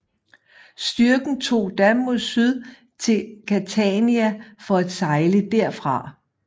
Styrken tog da mod syd til Catania for at sejle derfra